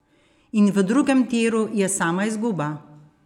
In v drugem tiru je sama izguba!